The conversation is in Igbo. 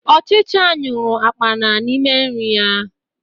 Ọchicha nyuru akpana n'ime nri ya